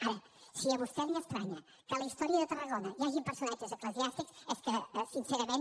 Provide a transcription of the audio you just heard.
ara si a vostè li estranya que a la història de tarragona hi hagin personatges eclesiàstics és que sincerament